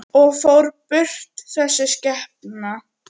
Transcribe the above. Og fór burt, þessi skepna.